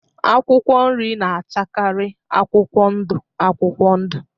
Akwụkwọ nri na-achakari akwụkwọ ndụ akwụkwọ udụ.